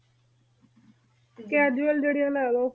casual ਜੇਰਿਯਾੰ ਲਾ ਲੋ